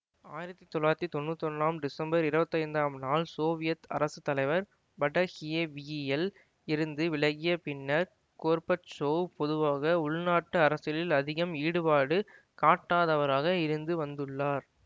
ஆயிரத்தி தொள்ளாயிரத்தி தொன்னூத்தி ஒன்னாம் டிசமபர் இருபத்தைந்தாம் நாள் சோவியத் அரசு தலைவர் படஹியவிவியல் இருந்து விலகிய பின்னர் கொர்பச்சோவ் பொதுவாக உள்நாட்டு அரசியலில் அதிகம் ஈடுபாடு காட்டாதவராகவே இருந்து வந்துள்ளார்